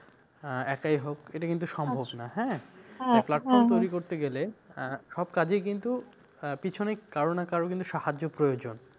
আহ একাই হোক এটা কিন্তু হ্যাঁ, তৈরি করতে গেলে আহ সব কাজেই কিন্তু, আহ পিছনে করো না করো কিন্তু সাহায্য প্রয়োজন।